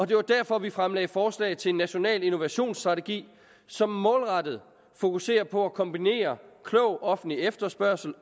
det var derfor vi fremlagde forslag til en national innovationsstrategi som målrettet fokuserer på at kombinere klog offentlig efterspørgsel